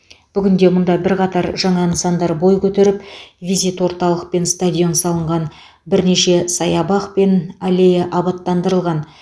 бүгінде мұнда бірқатар жаңа нысандар бой көтеріп визит орталық пен стадион салынған бірнеше саябақ пен аллея абаттандырылған